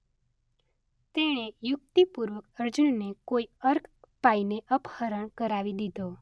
તેણે યુક્તિપૂર્વક અર્જુનને કોઈ અર્ક પાઈને અપહરણ કરાવી દીધો.